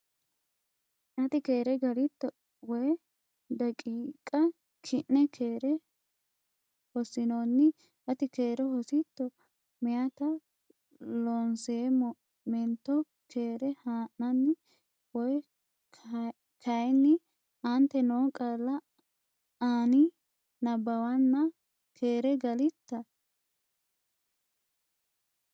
Ati keere galitto? Woy daqiiqa ki’ne keere hossinoonni? Ati keere hositto? Meyaata Loonseemmo meento keere haa’nanni woyte kayinni, Aante noo qaalla ani nabbawanna “Keere galitta?